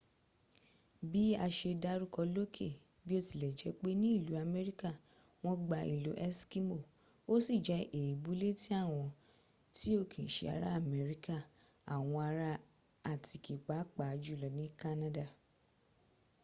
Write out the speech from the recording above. bi a se daruko loke biotilejepe ni ilu amerika won gba ilo eskimo o si je eebu leti awon ti o ki n se ara amerika awon ara atiki paa pa julo ni kanada